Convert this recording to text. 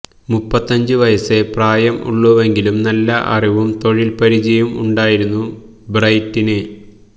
മുപ്പത്തഞ്ചു വയസ്സേ പ്രായം ഉള്ളുവെങ്കിലും നല്ല അറിവും തൊഴിൽ പരിചയവും ഉണ്ടായിരുന്നു ബ്രൈറ്റിന്